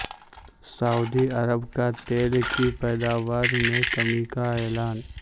سعودی عرب کا تیل کی پیداوار میں کمی کا اعلان